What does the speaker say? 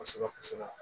Kosɛbɛ kosɛbɛ